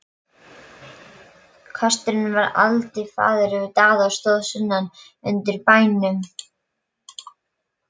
Kösturinn var eldiviðarforði Daða og stóð sunnan undir bæjarhúsunum.